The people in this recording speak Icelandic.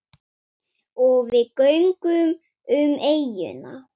Og við göngum um eyjuna.